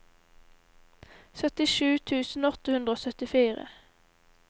syttisju tusen åtte hundre og syttifire